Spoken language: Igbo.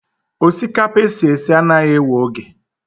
Osikapa esi esi anaghị ewe oge.